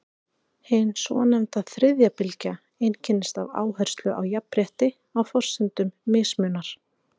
Hin svonefnda þriðja bylgja einkennist af áherslu á jafnrétti á forsendum mismunar.